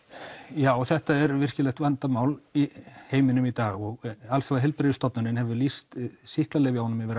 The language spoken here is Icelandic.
já þetta er virkilegt vandamál í heiminum í dag og alþjóðaheilbrigðisstofnunin hefur lýst sýklalyfjunum yfir